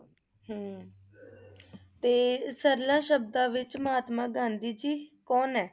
ਤੇ ਸਰਲਾਂ ਸ਼ਬਦਾਂ ਵਿਚ ਮਹਾਤਮਾ ਗਾਂਧੀ ਜੀ ਕੌਣ ਹੈ?